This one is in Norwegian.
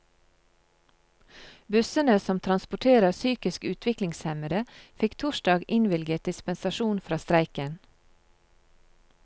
Bussene som transporterer psykisk utviklingshemmede, fikk torsdag innvilget dispensasjon fra streiken.